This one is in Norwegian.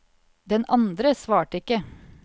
Den andre svarte ikke.